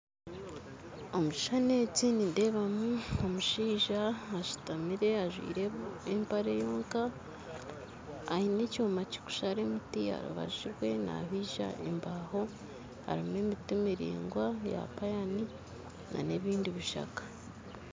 Omu kishuushani eki nindeebamu omushaija ashuutamire ajwire empare yonka aine ekyoma kikushara emiti aharubaju rwe nabiija embaho harimu ebiti miraingwa eya payani na n'ebindi bishaka